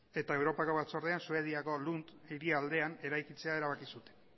eta europako batzordean suediako lund hiri aldean eraikitzea erabaki zuten